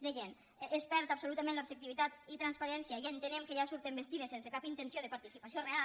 deien es perd absolutament l’objectivitat i transparència i entenem que ja surten bastides sense cap intenció de participació real